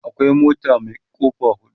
akwai mota Mai kofa hudu